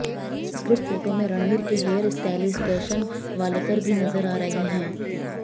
इस group photo में रणवीर के हेयर स्टाइलिस्ट दर्शन वालेकर भी नजर आ रहे हैं